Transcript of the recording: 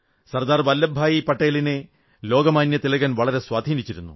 സർദാർ വല്ലഭ് ഭായി പട്ടേലിനെ ലോകമാന്യ തിലകൻ വളരെ സ്വാധീനിച്ചിരുന്നു